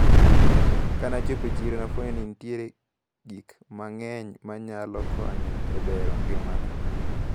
Kanachopo e chiro nafwenyo ni nitiere gikmang`eny manyalo konyo e bero ngimana.